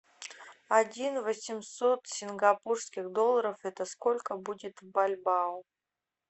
один восемьсот сингапурских долларов это сколько будет в бальбоа